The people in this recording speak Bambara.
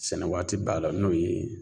Sɛnɛ waati b'a la n'o ye